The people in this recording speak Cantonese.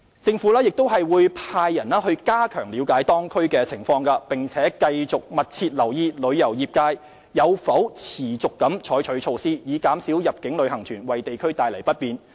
政府亦會派員加強了解當區情況，並繼續密切留意旅遊業界有否持續採取措施，以減少入境旅行團為地區帶來不便。